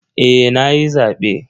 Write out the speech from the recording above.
Eh nayi zabe.